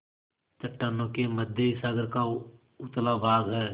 चट्टानों के मध्य सागर का उथला भाग है